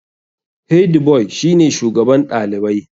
Hediboi shi ne shugaban ɗalibai.